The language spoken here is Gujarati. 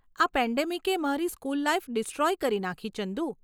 આ પેન્ડેમિકે મારી સ્કૂલ લાઈફ ડિસ્ટ્રોય કરી નાખી ચંદુ.